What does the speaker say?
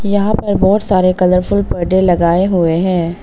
यहां पर बहोत सारे कलरफुल पर्दे लगाए हुए हैं।